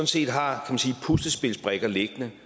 set har puslespilsbrikker liggende